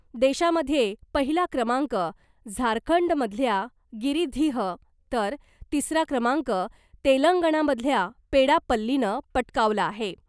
देशामध्ये पहिला क्रमांक झारखंडमधल्या गिरिधीह , तर तिसरा क्रमांक तेलंगणामधल्या पेडापल्लीनं पटकावला आहे .